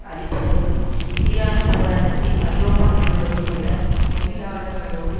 அழிப்பதற்கும் எதிரான போராட்டத்தில் ஐரோப்பா முழுவதும் உள்ள தொழிலாளர்களோடு